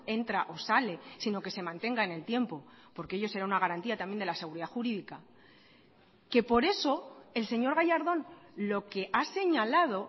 entra o sale sino que se mantenga en el tiempo porque ello será una garantía también de la seguridad jurídica que por eso el señor gallardón lo que ha señalado